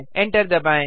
enter दबाएँ